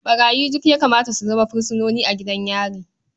Ɓarayi duk ya kamata su zama fursunoni a gidan yari.